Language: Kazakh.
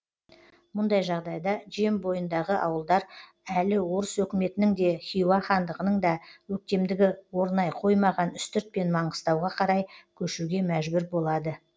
мұндай жағдайда жем бойындағы ауылдар әлі орыс өкіметінің де хиуа хандығының да өктемдігі орнай қоймаған үстірт пен маңғыстауға қарай көшуге мәжбүр болады